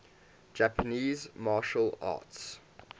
japanese martial arts